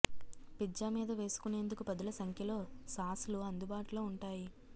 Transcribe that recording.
pizza మీద వేసుకునేందుకు పదుల సంఖ్యలో సాస్లు అందుబాటులో ఉంటాయి